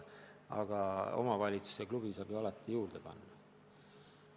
Aga omavalitsus ja klubi saavad ju alati juurde panna.